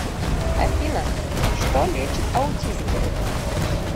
афина что лечит аутизм